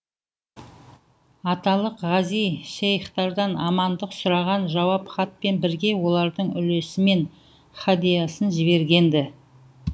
аталық ғази шейхтардан амандық сұраған жауап хатпен бірге олардың үлесі мен һәдиасын жіберген ді